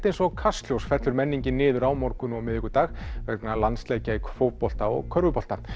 eins og Kastljós fellur menningin niður á morgun og miðvikudag vegna landsleikja í fótbolta og körfubolta